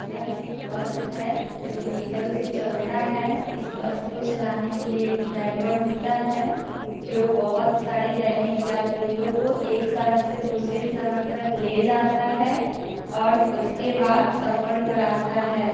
ये एक बस है जो डीजल से चलता है इस बस को चलाने के लिए एक ड्राइवर होता है जो बहुत सारे दैनिक यात्रियों को एक शहर से दूसरे शहर तक ले जाता है और उसके बाद सफर कराता है।